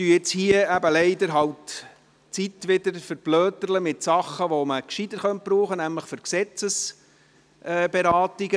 Leider verschwenden wir Zeit, die man gescheiter brauchen könnte – nämlich für Gesetzesberatungen.